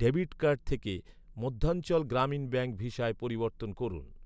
Debit card থেকে Madhyanchal Gramin bank ভিসায় পরিবর্তন করুন।